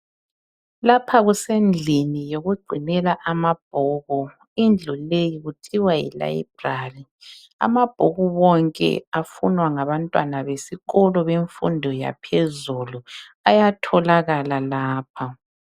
Lapha kusendlini yokugcinela amabhuku. Indlu leyi kuthiwa yi Library . Amabhuku wonke afunwa ngabantwana besikolo bemfundo yaphezulu ayatholakala lapha.